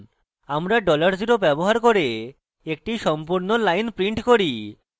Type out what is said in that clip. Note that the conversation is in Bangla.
আমরা $0 ব্যবহার করে এটি সম্পূর্ণ line prints করে